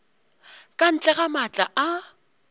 ka ntle ga maatla a